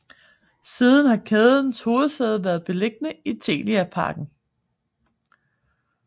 Siden har kædens hovedsæde været beliggende i Telia Parken